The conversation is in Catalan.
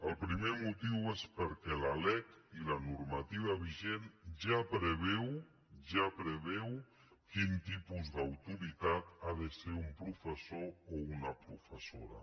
el primer motiu és perquè la lec i la normativa vigent ja preveuen quin tipus d’autoritat ha de ser un professor o una professora